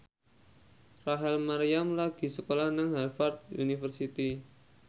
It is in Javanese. Rachel Maryam lagi sekolah nang Harvard university